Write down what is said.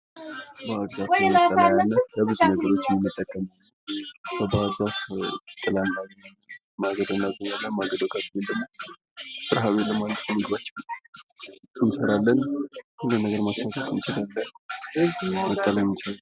ባህር ዛፍ በፈጣን እድገቱና ለበርካታ የኢንዱስትሪ አገልግሎቶች በመዋሉ የሚታወቅ ግዙፍና ረጅም ዛፍ ሲሆን በተለይም ለወረቀት ማምረቻ ፋብሪካዎች ግብዓት በመሆን ያገለግላል።